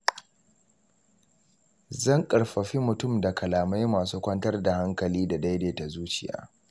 Zan ƙarfafi mutum da kalamai masu kwantar da hankali da daidaita zuciya.